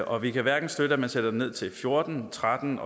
og vi kan hverken støtte at man sætter den ned til fjorten tretten